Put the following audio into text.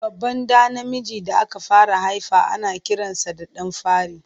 Babban ɗa namiji da aka fara haifa ana kiransa da ɗan fari.